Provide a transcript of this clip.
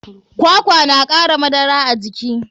Kwakwa na kara madara a jiki.